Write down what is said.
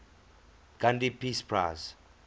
gandhi peace prize